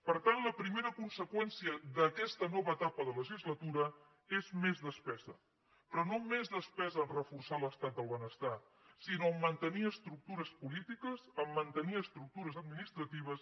per tant la primera conseqüència d’aquesta nova etapa de legislatura és més despesa però no més despesa a reforçar l’estat del benestar sinó a mantenir estructures polítiques a mantenir estructures administratives